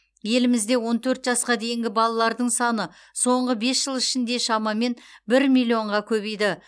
елімізде он төрт жасқа дейінгі балалардың саны соңғы бес жыл ішінде шамамен бір миллионға көбейді